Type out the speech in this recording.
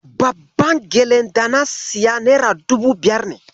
Babban gyalen da na siya nera dubu biyar ne.